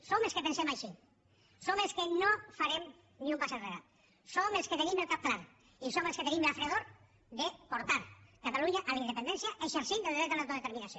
som els que pensem així som els que no farem ni un pas enrere som els que tenim el cap clar i som els que tenim la fredor de portar catalunya a la independència exercint el dret a l’autodeterminació